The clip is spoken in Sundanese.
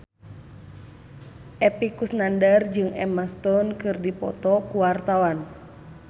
Epy Kusnandar jeung Emma Stone keur dipoto ku wartawan